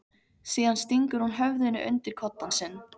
Síðan stingur hún höfðinu undir koddann sinn.